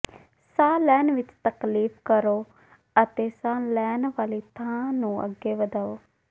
ਸਾਹ ਲੈਣ ਵਿੱਚ ਤਕਲੀਫ ਕਰੋ ਅਤੇ ਸਾਹ ਲੈਣ ਵਾਲੀ ਥਾਂ ਨੂੰ ਅੱਗੇ ਵਧਾਓ